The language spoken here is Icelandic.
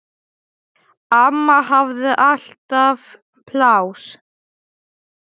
Amma hafði alltaf pláss.